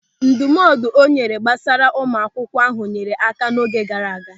Ndụmọdụ ọ nyere gbasara ụmụ akwụkwọ ahụ nyeere áká n'oge gaara aga.